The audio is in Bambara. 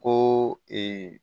Ko